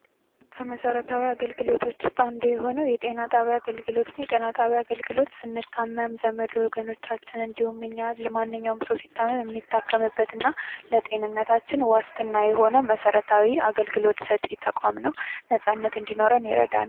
ከመሰረታዊ አገልግሎቶች ውስጥ አንዱ የሆነው የጤና ጣቢያ አገልግሎት ነው ። የጤና ጣቢያ አገልግሎት ስንታመም ዘመድ ወገኖቻችን እንዲሁም እኛ ማንኛውም ሰው ሲታመም የሚታከምበት እና ለጤንነታችን ዋስትና የሆነ መሰረታዊ አገልግሎት ሰጪ ተቋም ነው ። ነፃነት እንዲኖረን ይረዳናል ።